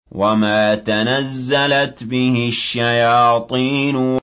وَمَا تَنَزَّلَتْ بِهِ الشَّيَاطِينُ